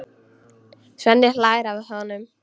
Svenni hlær að honum.